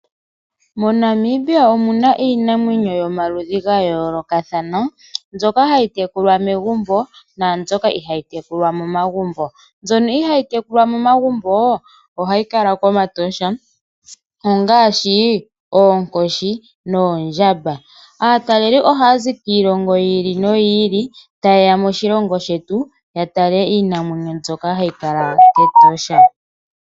moNamibia omuna iinamwenyo yomaludhi ngayoloka thana mbyoka hayitekulwa megumbo nambyoka ihayi tekulwa momagumbo , mbyono ihayi tekulwa momagumbo ohayi kala komatosha, ongashi ookoshi noondjamba, ataleli ohazi kiilongo yili noyili tayeya moshilongo shetu yatale Iinamwenyo mbyoka hayi kala ketosha.